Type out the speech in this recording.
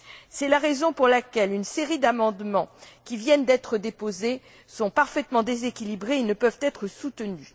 C'est la raison pour laquelle une série d'amendements qui viennent d'être déposés sont parfaitement déséquilibrés et ne peuvent être soutenus.